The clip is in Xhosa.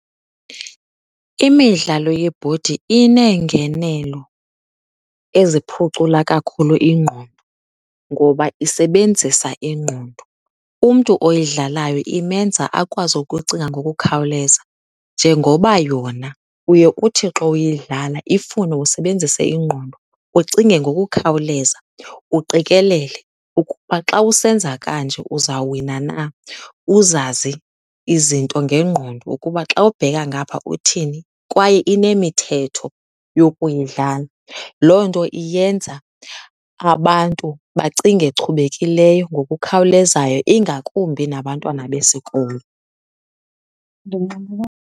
Imidlalo yebhodi ineengenelo eziphucula kakhulu ingqondo ngoba isebenzisa ingqondo. Umntu oyidlalayo imenza akwazi ukucinga ngokukhawuleza, Njengoba yona uye uthi xa uyidlala ifune usebenzise ingqondo, ucinge ngokukhawuleza, uqikelele ukuba xa usenza kanje uzawuwina na, uzazi izinto ngengqondo ukuba xa ubheka ngapha uthini, kwaye inemithetho yokuyidlala. Loo nto iyenza abantu bacinge chubekileyo ngokukhawulezayo, ingakumbi nabantwana besikolo.